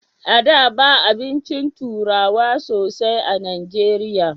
A da ba abincin turawa sosai a najeriya